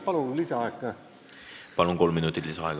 Palun lisaaega ka!